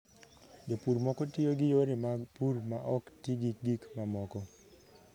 Jopur moko tiyo gi yore mag pur ma ok ti gi gik mamoko.